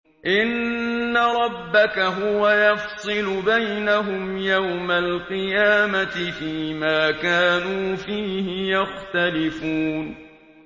إِنَّ رَبَّكَ هُوَ يَفْصِلُ بَيْنَهُمْ يَوْمَ الْقِيَامَةِ فِيمَا كَانُوا فِيهِ يَخْتَلِفُونَ